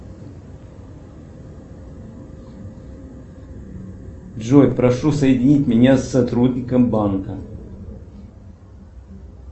джой прошу соединить меня с сотрудником банка